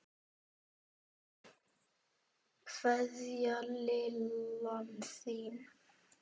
Kveðja, Lillan þín.